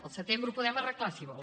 el setembre ho podem arreglar si vol